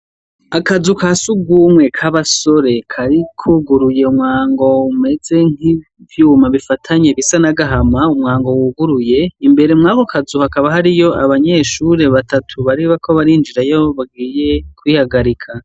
Akazu kasugumwe ka basore kari kuguruye umwango umeze nk'ivyuma bifanye bisa nk'agahama umwango wuguruye imbere mwako kazu hakaba harimwo abanyeshuri batatu bariko barinjirayo bagiye kwihagarika.